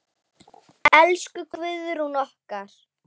Elsku Guðrún okkar.